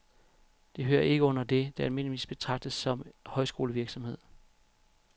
Det hører ikke ind under det, der almindeligvis betragtes som højskolevirksomhed.